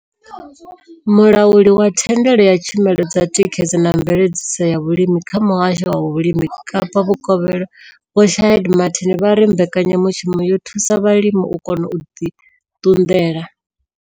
Mulauli wa thandela ya tshumelo dza thikhedzo na mveledziso ya vhulimi kha Muhasho wa Vhulimi Kapa Vhukovhela Vho Shaheed Martin vha ri mbekanya mushumo yo thusa vhalimi u kona u ḓi ṱunḓela.